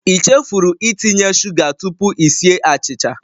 I chefuru itinye sugar tupu i sie achịcha?